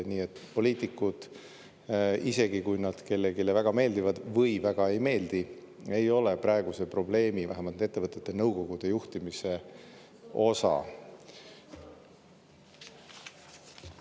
Nii et poliitikud, isegi kui nad kellelegi väga meeldivad või väga ei meeldi, ei ole praeguse probleemi, vähemalt ettevõtete nõukogude juhtimise taga.